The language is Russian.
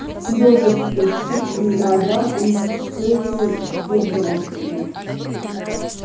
съёжившись чуть ли не дрожа он всё ещё сдерживал себя